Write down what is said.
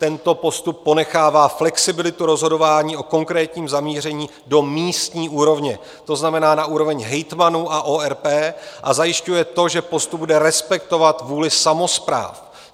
Tento postup ponechává flexibilitu rozhodování o konkrétním zamíření do místní úrovně, to znamená na úroveň hejtmanů a ORP, a zajišťuje to, že postup bude respektovat vůli samospráv.